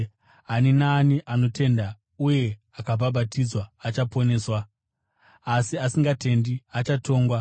Ani naani anotenda uye akabhabhatidzwa achaponeswa, asi asingatendi achatongwa.